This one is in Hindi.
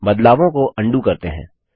बदलावों को अन्डू करते हैं